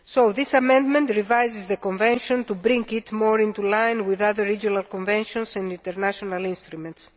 This amendment revises the convention to bring it more into line with other regional conventions and international instruments.